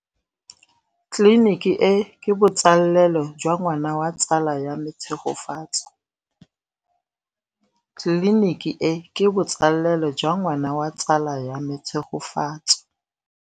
Tleliniki e, ke botsalêlô jwa ngwana wa tsala ya me Tshegofatso.